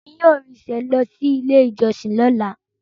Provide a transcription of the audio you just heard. Emi yóò rinṣe lọ si ile ijọsin lọla.